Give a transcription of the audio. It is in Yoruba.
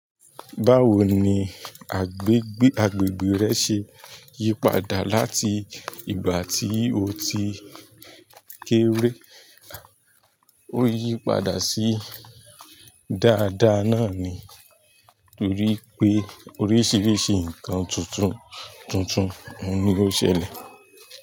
Báwo ni agbègbè rẹ ṣe yípadà láti ìgbà tí o ti kéré? Ó yípadà sí dáadáa náà ni, torí pé oríṣiríṣi nǹkan tuntun tuntun ni ó ṣẹlẹ̀.